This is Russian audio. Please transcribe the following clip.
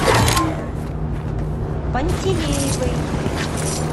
пантелеевой